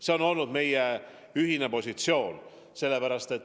See on olnud meie ühine positsioon.